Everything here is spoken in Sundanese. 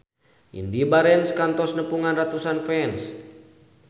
Indy Barens kantos nepungan ratusan fans